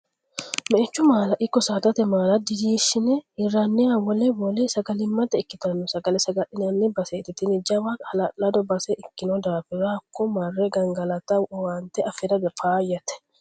Meichu maala ikko saadate maala durinshe hiraninna wole wole sagalimmate ikkittano sagale saga'linanni baseti tini jawa hala'lado base ikkino daafira hakko marre gangalatta owaante afira faayyate.